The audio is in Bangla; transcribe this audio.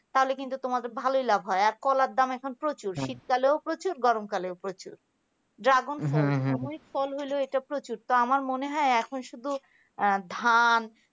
তাহলে কিন্তু তোমাদের ভালই লাভ হয়, কলার দাম এখন প্রচুর শীতকালেও প্রচুর গরমকালেও প্রচুর dragon এমনই ফল হলো একটি এটা প্রচুর তো আমার মনে হয় এখন শুধু ধান